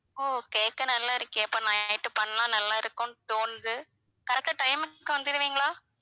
ஓ கேக்க நல்லா இருக்கே அப்ப na~ night பண்ணா நல்லா இருக்கும்னு தோணுது correct ஆ time க்கு வந்துடுவீங்களா?